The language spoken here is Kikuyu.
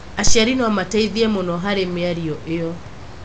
Aciari no mateithie mũno harĩ mĩario ĩyo.